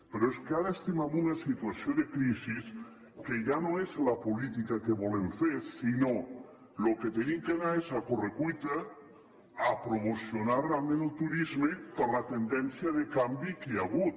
però és que ara estem en una situació de crisi que ja no és la política que volem fer sinó que el que hem d’anar és a corre cuita a promocionar realment el turisme per la tendència de canvi que hi ha hagut